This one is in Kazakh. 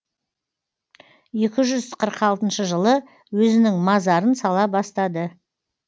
екі жүз қырық алтыншы жылы өзінің мазарын сала бастады